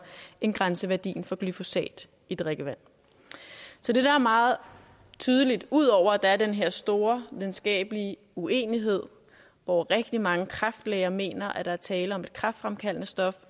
end grænseværdien for glyfosat i drikkevand så det der er meget tydeligt ud over at der er den her store videnskabelige uenighed hvor rigtig mange kræftlæger mener at der er tale om et kræftfremkaldende stof